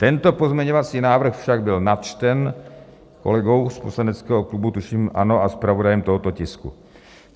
Tento pozměňovací návrh však byl načten kolegou z poslaneckého klubu, tuším ANO, a zpravodajem tohoto tisku.